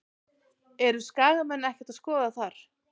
Eru Skagamenn ekkert að skoða þar?